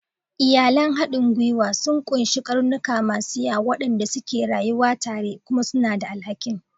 Iyalan haɗin gwiwa sun ƙunshi ƙarnuka masu yawa waɗanda suke rayuwa tare kuma suna da alhakin.